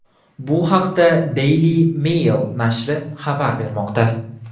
Bu haqda Daily Mail nashri xabar bermoqda .